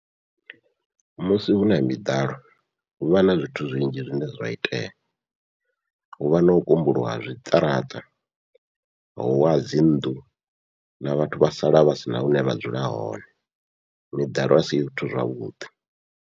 Musi huna miḓalo huvha na zwithu zwinzhi zwine zwa itea, huvha nau kumbuluwa zwiṱaraṱa huwa dzi nnḓu na vhathu vha sala vha sina hune vha dzula hone, miḓalo asi zwithu zwavhuḓi.